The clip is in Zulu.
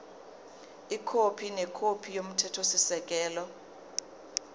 ikhophi nekhophi yomthethosisekelo